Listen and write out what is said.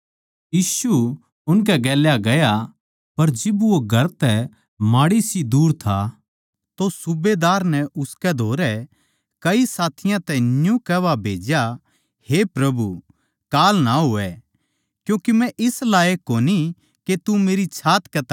यीशु उनकै गेल्या गया पर जिब वो घर तै माड़ीसी दूर था तो सूबेदार नै उसके धोरै कई साथियाँ तै न्यू कुह्वा भेज्या हे प्रभु कांल ना होवै क्यूँके मै इस लायक कोनी के तू मेरी छात कै तळै आवै